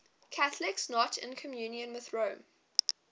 catholics not in communion with rome